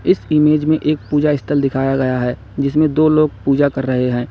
इस इमेज में एक पूजा स्थल दिखाया गया है जिसमें दो लोग पूजा कर रहे हैं।